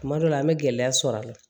Kuma dɔ la an bɛ gɛlɛya sɔrɔ a la